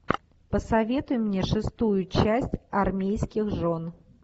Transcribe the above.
посоветуй мне шестую часть армейских жен